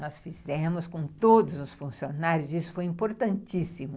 Nós fizemos com todos os funcionários, isso foi importantíssimo.